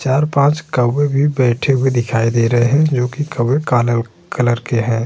चार पांच कववे भी बैठे हुए दिखाई दे रहे है जोकि कववे काले कलर के हैं।